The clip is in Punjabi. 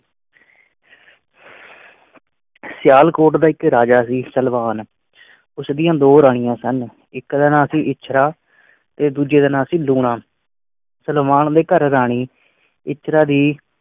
ਸਿਆਲਕੋਟ ਦਾ ਇੱਕ ਰਾਜਾ ਸੀ ਸਲਵਾਨ। ਉਸਦੀਆਂ ਦੋ ਰਾਣੀਆਂ ਸਨ। ਇੱਕ ਰਹਿਣਾ ਸੀ ਇਛਰਾਂ ਤੇ ਦੂਜੇ ਦਿ ਨਾ ਸੀਂ ਲੂਣਾ। ਸਲਵਾਨ ਦੇ ਘਰ ਰਾਣੀ ਇੱਛਰਾਂ ਦੀ